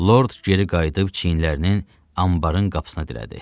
Lord geri qayıdıb çiynlərinin anbarın qapısına dirədi.